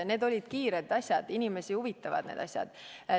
Need olid kiired asjad, inimesi huvitavad asjad.